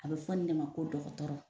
A be fɔ nin ne ma ko dɔgɔtɔrɔ